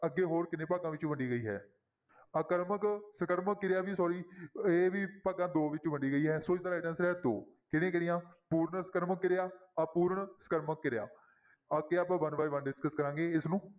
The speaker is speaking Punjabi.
ਅੱਗੇ ਹੋਰ ਕਿੰਨੇ ਭਾਗਾਂ ਵਿੱਚ ਵੰਡੀ ਗਈ ਹੈ ਆਕਰਮਕ, ਸਕਰਮਕ ਕਿਰਿਆ ਵੀ sorry ਇਹ ਵੀ ਭਾਗਾਂ ਦੋ ਵਿੱਚ ਵੰਡੀ ਗਈ ਹੈ ਸੋ ਇਸਦਾ right answer ਹੈ ਦੋ, ਕਿਹੜੀ ਕਿਹੜੀਆਂ ਸਪੂਰਨ ਸਕਰਮਕ ਕਿਰਿਆ ਅਪੂਰਨ ਸਕਰਮਕ ਕਿਰਿਆ ਅੱਗੇ ਆਪਾਂ one by one discuss ਕਰਾਂਗੇ ਇਸਨੂੰ।